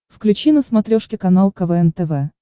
включи на смотрешке канал квн тв